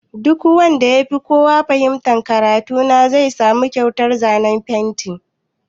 Duk wanda ya fi kowa fahimtan karatu na zai samu kyautar zanen fenti.